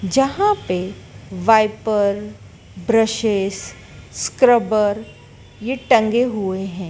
जहां पे wiper brushes scrubber ये टंगे हुए हैं।